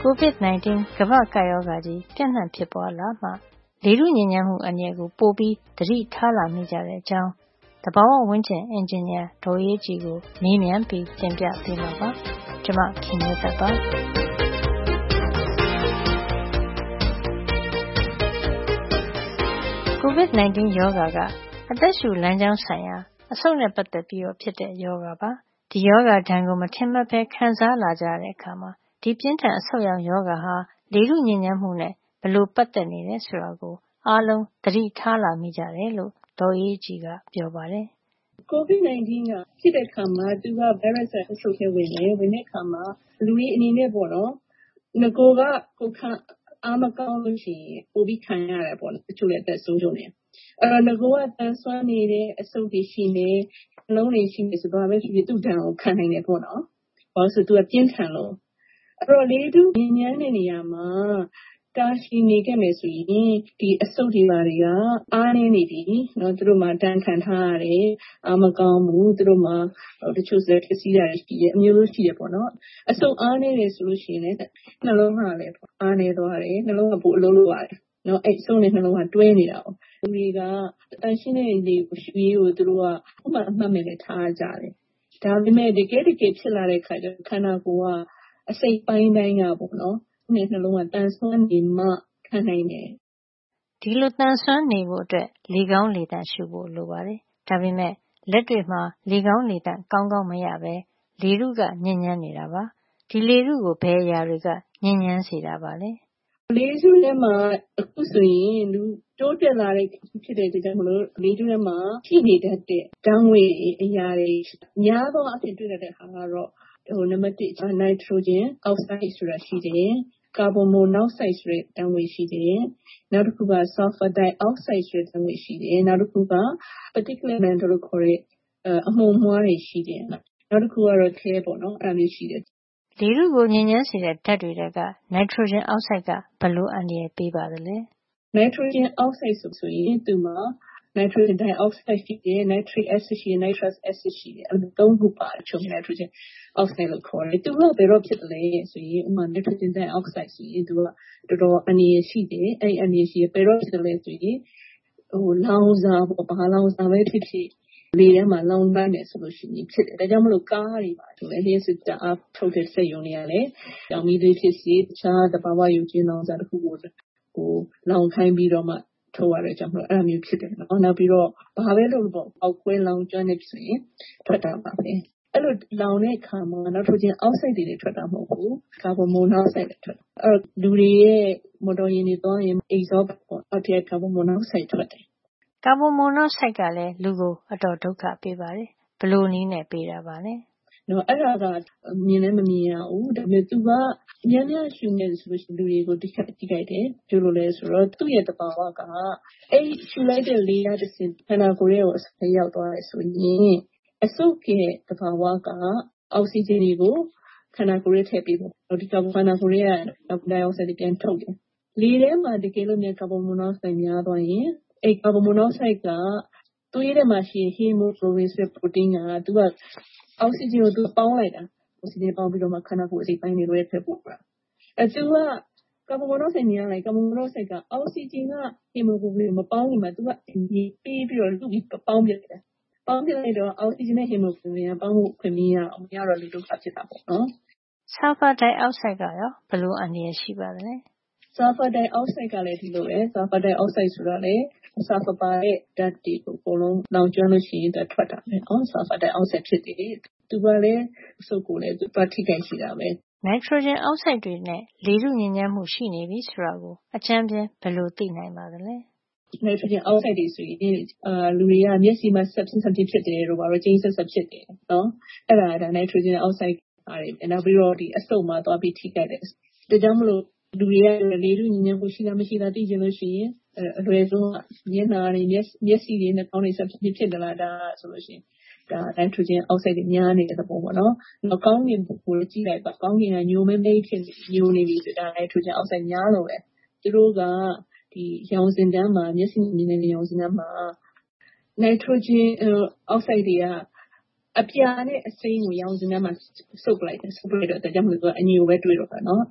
COVID 19 ကမ္ဘာ့ကပ်ရောဂါကြီး ပြန့်နှံ့ ဖြစ်ပွါးလာမှ လေထုညစ်ညမ်းမှု အန္တရာယ်ကို ပိုပြီး သတိထားလာမိကြတဲ့အကြောင်း သဘာဝဝန်းကျင် အင်ဂျင်နီယာ ဒေါ်အေးအေးကြည်ကို မေးမြန်းပြီး တင်ပြပေးမှာပါ။ COVID 19 ရောဂါက အသက်ရှုလမ်းကြောင်းဆိုင်ရာ အဆုတ်နဲ့ပတ်သက်ပြီးတော့ ဖြစ်တဲ့ ရောဂါပါ။ ဒီရောဂါဒဏ်ကို မထင်မှတ်ပဲ ခံစားလာကြရတဲ့ အခါမှာ ဒီပြင်းထန် အဆုတ်ယောင် ရောဂါဟာ လေထု ညစ်ညမ်းမှုနဲ့ ပတ်သက်နေတယ် ဆိုတာကို အားလုံး သတိထား လာမိကြတယ်လို့ ဒေါ်အေးအေးကြည်က ပြောပါတယ်။ ဒေါ်အေးအေးကြည်။ ။“ COVID 19 ရောဂါ ဖြစ်တဲ့ အခါမှာ သူက ဗိုင်းရပ်စ်က အဆုတ်ထဲ ဝင်တယ်။ ဒီလို ဝင်တဲ့ အခါမှာ နဂိုက ကိုယ်ခံအား မကောင်းဘူး ဆိုရင် ပိုပြီး ခံရတယ် ပေါ့နော်။ တချို့လည်း အသက်ပါဆုံးရတယ်။ အဲဒီတော့ နဂိုက သန်စွမ်းနေတဲ့ အဆုတ်တွေ ရှိမယ်။ နှလုံးတွေ ရှိမယ် ဆိုရင် ဘာပဲဖြစ်ဖြစ် သူ့ဒဏ်ကို ခံနိုင်မယ်ပေါ့နော်။ ဘာလို့လည်း ဆိုတော့ သူက ပြင်းထန်လို့။ အဲဒီတော့ လေထု ညစ်ညမ်းတဲ့ နေရာမှာ တာရှည် နေခဲ့မယ် ဆိုရင် ဒီအဆုတ်တွေ ဘာတွေက အားနဲနေပြီ။ သူတို့မှာ ဒဏ်ခံထားရတယ်။ အားမကောင်းဘူး။ နောက် တချို့လည်း ပျက်စီးနေတာတွေ ရှိတယ်။ အမျိုးမျိုးပေါ့နော်။ အဆုတ် အားနဲနေပြီ ဆိုရင် နှလုံးကလည်း အားနဲသွားတယ်။ နှလုံးက ပိုအလုပ်လုပ်ရတယ်။ အဆုတ်နဲ့ နှလုံး ကိစ္စက တွဲနေတာကိုး။ လူတွေက သန့်ရှင်းတဲ့ လေကို ရှုရေးကို အမှုမဲ့ အမှတ်မဲ့ ထားကြတယ်။ ဒါပေမယ့် တကယ့်တကယ် ဖြစ်လာတဲ့ အခါကျတော့ ခန္ဓာကိုယ်က အစိတ်အပိုင်းတိုင်းက အဆုတ်နဲ့နှလုံးက သန်စွမ်းနေမှ ခံနိုင်တယ်။” အဲဒီလို သန်စွမ်းနေဖို့ အတွက် လေကောင်းလေသန့် ရှုဖို့ လိုအပ်ပါတယ်။ ဒါပေမယ့် လက်တွေ့မှာ လေကောင်းလေသန့် ကောင်းကောင်း မရပဲ လေထုက ညစ်ညမ်းနေတာပါ။ လေထုကို ဘယ်အရာ တွေကညစ်ညမ်းစေပါသလဲ။ ဒေါ်အေးအေးကြည်။ ။ “လေထုထဲမှာ အခုဆိုရင် တိုးတက်လာတဲ့ ခေတ်ဖြစ်တဲ့ အတွက် ကြောင့် လေထုထဲမှာ ပြည့်နေတတ်တဲ့ ဓါတ်ငွေ့တွေ၊ အရာတွေ အဖြစ် များသောအားဖြင့် တွေ့ရတတ်တာ ကတော့ နံပတ် ၁ က နိုက်ထရိုဂျင် အောက်ဆိုဒ်ဆိုတာ ရှိတယ်။ ကာဗွန်မိုနောက်ဆိုဒ် ဆိုတဲ့ ဓါတ်ငွေ့ရှိတယ်။ နောက်တခုက ဆာလ်ဖာဒိုင်အောက်ဆိုဒ် ဆိုတဲ့ ဓါတ်ငွေ့ရှိတယ်။ နောက်တခုက particular matter လို့ခေါ်တဲ့ အမှုန်အမွှားတွေ ရှိတယ်။ နောက်တခုကတော့ ခဲ - lead ပေါ့နော်။” လေထုကို ညစ်ညမ်းစေတဲ့ ဓါတ်တွေ ထဲက နိုင်ထရိုဂျင်အောက်ဆိုဒ် က ဘယ်လို အန္တရာယ် ပေးပါသလဲ။ ဒေါ်အေးအေးကြည်။ ။“ နိုက်ထရိုဂျင် အောက်ဆိုဒ် ဆိုရင် သူ့မှာ နိုက်ထရိုဂျင် ဒိုင်အောက်ဆိုဒ် ဖြစ်ဖြစ်၊ နိုက်ထရစ်အက်ဆစ် ဖြစ်ဖြစ်၊ နိုက်ထရပ်စ် အက်ဆစ် ဖြစ်ဖြစ် သူတို့မှာ အဲဒီ ၃ ခု ပါတယ်။ အဲဒါကို ခြုံပြီးတော့ နိုက်ထရိုဂျင် အောက်ဆိုဒ် လို့ ခေါ်တယ်။ သူတို့က ဘယ်တော့ ဖြစ်သလဲ ဆိုရင် ဥပမာ နိုက်ထရိုဂျင် ဒိုင်အောက်ဆိုဒ် ဆိုရင် သူက တော်တော် အန္တရာယ် ရှိတယ်။ သူက ဘယ်ကရလဲ ဆိုရင် လောင်စာ၊ ဘာလောင်စာပဲ ဖြစ်ဖြစ် လေထဲမှာ လောင်လိုက်မယ် ဆိုရင် ဖြစ်တယ်။ ဒါကြောင့် မို့ကားတွေ၊ လ ျှပ်စစ် ဓါတ်အားထုတ်တဲ့ စက်ရုံတွေ ကလည်း ကျောက်မီးသွေး ဖြစ်ဖြစ်၊ တခြား သဘာဝ ရုပ်ကြွင်း လောင်စာတွေကပဲ ဖြစ်ဖြစ်၊ လောင်ခိုင်းပြီးတော့မှာ ထုတ်ရတဲ့ အတွက်ကြောင့်မို့ အဲဒါမျိုးဖြစ်တယ်ပေါ့နော်။ နောက်ပြီး တော့ ဘာပဲ လုပ်လုပ်ပေါ့၊ ဖေါက်ခွဲ လောင်ကျွမ်းလို့ ရှိရင် ထွက်တာပါပဲ။ အဲဒီလို လောင်တဲ့ အခါမှာ နိုက်ထရိုဂျင်အောက်ဆိုဒ် တင်ထွက်တာ မဟုတ်ဖူး၊ ကာဗွန်မိုနောက်ဆိုဒ်လည်း ထွက်တယ်။ နောက် လူတွေရဲ့ မော်တော်ယာဉ်တွေ သွားနေရင် အဲဒီ အိတ်ဇောပိုက် အောက်ထဲက ကာဗွန်မိုနောက်ဆိုဒ်က ထွက်တယ်။” ကာဗွန်မိုနောက်ဆိုဒ်ကလည်း လူကို အတော် ဒုက္ခ ပေးပါတယ်။ ဘယ်လို နည်းနဲ့ ပေးတာပါလဲ။ ဒေါ်အေးအေးကြည်။ ။ “အဲဒါက မြင်လည်း မမြင်ရဘူး။ ဒါပေမယ့် များများရှုမိရင် လူတွေကို ထိခိုက်တယ်။ ဘာကြောင့်လည်း ဆိုတော့ သူ့သဘာဝက အဲဒီ ရှုလိုက်တဲ့ လေကတဆင့် ခန္ဓာကိုယ်ထဲကို ဝင်သွားတယ် ဆိုရင်၊ အဆုတ်ရဲ့ သဘာဝက အောက်ဆီဂျင်တွေကို ခန္ဓာကိုယ်ထဲ ထည့်ပေးတယ်။ နောက် ခန္ဓာကိုယ်ထဲက ကာဗွန်ဒိုင်အောက်ဆိုဒ်တွေ ပြန်ထုတ်တယ်။ တကယ်လို့ လေထဲမှာ ကာဗွန်မိုနောက်ဆိုဒ် များသွားရင် သူက သွေးထဲမှာ ရှိတဲ့ ဟီမိုကလိုဗင် ဆိုတဲ့ ပရိုတိန်းက အောက်ဆီဂျင်ကို သူပေါင်းလိုက်တာ။ ပြီးတော့မှ ခန္ဓာကိုယ် အစိတ်အပိုင်းတွေထဲကို သွားတာ။ အဲ သူက ကာဗွန်မိုနောက်ဆိုဒ် များရင် ကာဗွန်မိုနောက်ဆိုဒ်က အောက်ဆီဂျင်နဲ့ ဟီမိုကလိုဗင် မပေါင်းခင် သူက ဆီးပြီး ပေါင်းပစ်လိုက်တာ။ အဲဒီလို ဖြစ်တော့ အောက်ဆီဂျင်နဲ့ ဟီမိုကလိုဗင်က ပေါင်းဖို့ အခွင့် မရတော့ဘူး။ မရတော့ လူဒုက္ခ ဖြစ်တာပေါ့။” ဆာလ်ဖာဒိုင်အောက်ဆိုဒ် ကရော ဘယ်လိုအန္တရာယ် ရှိပါသလဲ။ ဒေါ်အေးအေးကြည်။ ။ “ဆာလဖာ ဒိုင်အောက်ဆိုဒ်ကလည်း ဒီလိုပဲ။ သူကလည်း ဆာလ်ဖာပါတဲ့ ဓါတ်တွေ လောင်ကျွမ်းလို့ ထွက်လာတာပေါ့နော်။ သူကလည်း အလားတူ ထိခိုက်စေတာပဲ။” နိုက်ထရိုဂျင်အောက်ဆိုဒ်တွေနဲ့ လေထုညစ်ညမ်းမှု ရှိနေပြီ ဆိုတာကို အကြမ်းဖျင်းဘယ်လို သိနိုင်ပါသလဲ။ ဒေါ်အေးအေးကြည်။ ။“နိုက်ထရိုဂျင်အောက်ဆိုဒ်တွေဆိုရင် လူတွေက မျက်စိမှာ စပ်ဖျင်းစပ်ဖျင်း ဖြစ်တယ်တို့၊ ကြိမ်းစပ်စပ် ဖြစ်တယ် ဆိုရင် အဲဒါက နိုက်ထရိုဂျင်အောက်ဆိုဒ်။ နောက်ပြီး အဆုတ်မှာ သွားပြီးထိခိုက်တယ်။ ဒါကြောင့်မို့ လူတွေက လေထုညစ်ညမ်းမှု ရှိလား မရှိဘူးလား သိချင်ရင် အလွယ်ဆုံးက မျက်နှာတွေ၊ မျက်စိတွေ၊ နှာခေါင်းတွေ စပ်ဖျင်းဖျင်း ဖြစ်သလား။ ဒါက နိုင်ထရိုဂျင် အောက်ဆိုဒ်တွေ များနေတဲ့ သဘောပေါ့နော်။ နောက် ကောင်းကင်ကို ကြည့်လိုက်ပါ ကောင်းကင်က ညိုမဲမဲကြီး ဖြစ်နေပြီ ဆိုရင် အဲဒါ နိုက်ထရိုဂျင်အောက်ဆိုဒ်တွေ များလို့ပဲ။ သူတို့က ရောင်စဉ်တန်းမှာ၊ မျက်စိက မြင်ရတဲ့ ရောင်စဉ်တန်းမှာ နိုက်ထရိုဂျင်အောက်ဆိုဒ် တွေက အပြာနဲ့ အစိမ်းကို ရောင်စဉ်တန်းမှာ စုပ်ယူလိုက်တယ်။ ဒါကြောင့်မို့ သူက အညိုပဲ တွေ့ရတော့တာပေါ့နော်။”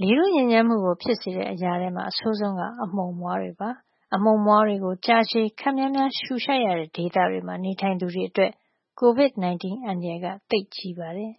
လေထုညစ်ညမ်းမှုကို ဖြစ်စေတဲ့ အရာထဲမှာ အဆိုးဆုံးက အမှုန်အမွှားတွေပဲ ဖြစ်ပါတယ်။ အမှုန်မွှားတွေကို ကြာရှည် ခပ်များများ ရှုရှိုက်ရတဲ့ ဒေသတွေမှာ နေထိုင်သူတွေ အတွက် Covid 19 အန္တရာယ် က သိပ်ကြီးပါတယ်